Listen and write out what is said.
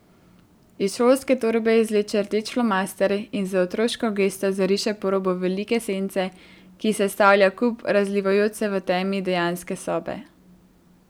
Iz šolske torbe izvleče rdeč flomaster in z otroško gesto zariše po robu velike sence, ki sestavlja kup, razlivajoč se v temi dejanske sobe.